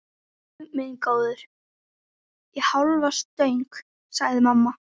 Guð minn góður, í hálfa stöng, sagði mamma.